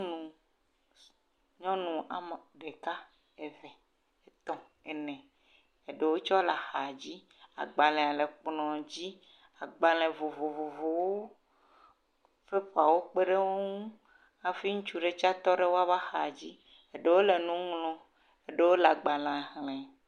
Nyɔnu, nyɔnu ame ɖeka, eve, etɔ̃, ene, eɖewo tsɛ le axadzi. Agbalẽ vovovowo. Pepawo tsɛ wokpe ɖe wo ŋu hafi ŋutsu ɖe tsɛ tɔ ɖe woƒe axadzi. Eɖewo le nu ŋlɔ. Eɖewo le agbalẽa xlẽ.